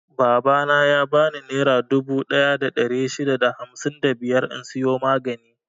Babana ya bani nera dubu ɗaya da ɗari shida da hamsin da biyar in siyo maganin.